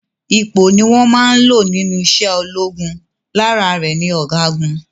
Ipò ni wón máa n lò nínú ise ológun, lára rè ni ọ̀gágun